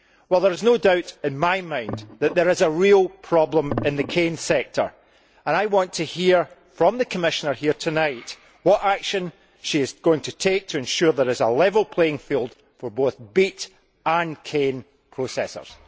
There is no doubt in my mind that there is a real problem in the cane sector and I want to hear from the Commissioner here tonight what action she is going to take to ensure there is a level playing field for both beet and cane processors.